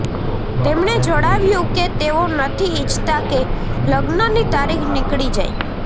તેમણે જણાવ્યું કે તેઓ નથી ઈચ્છતા કે લગ્નની તારીખ નીકળી જાય